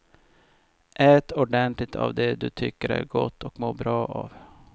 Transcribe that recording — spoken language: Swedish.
Ät ordentligt av det du tycker är gott och mår bra av.